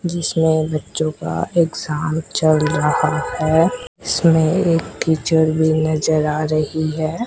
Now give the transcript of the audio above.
जिसमें बच्चों का एग्जाम चल रहा है इसमें एक टीचर भी नजर आ रही है।